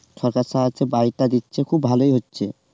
সরকার বাড়িটা দিচ্ছে খুব ভালোই হচ্ছে